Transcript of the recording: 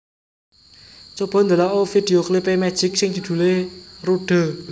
Coba ndelok o video klip e Magic sing judule Rude